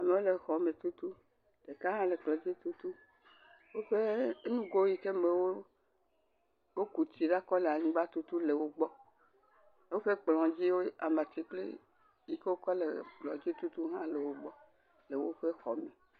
Amewo le xɔme tutum eka hã le kplɔ dzi tutum, woƒe nugo yi ke me woku tsi ɖo le anyigba tutu le wo gbɔ woƒe kplɔ dzi amatsi kpli…wohã le wogbɔ le woƒe xɔ me.